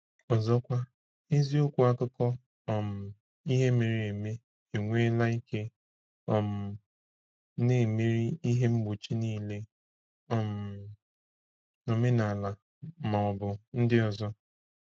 Ọzọkwa, eziokwu akụkọ um ihe mere eme enweela ike, um na-emeri ihe mgbochi niile, um omenala ma ọ bụ ndị ọzọ.